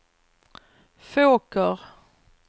Fåker